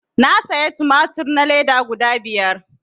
Na saya tumatur na leda guda biyar